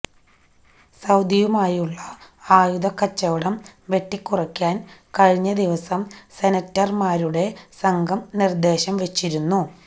സൌദിയുമായുള്ള ആയുധക്കച്ചവടം വെട്ടിക്കുറയ്ക്കാന് കഴിഞ്ഞ ദിവസം സെനറ്റര്മാരുടെ സംഘം നിര്ദ്ദേശം വച്ചിരുന്നു